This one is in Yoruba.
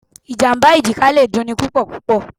Ìjàmbá èjìká le dun ni púpọ̀púpọ̀.